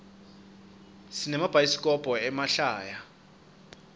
sinemabhayaisikhobo emahlaya